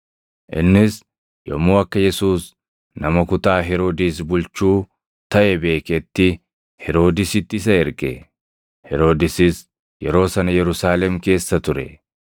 Innis yommuu akka Yesuus nama kutaa Heroodis bulchuu taʼe beeketti Heroodisitti isa erge; Heroodisis yeroo sana Yerusaalem keessa ture.